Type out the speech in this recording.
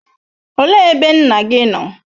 Olee ebe nna gị nọ?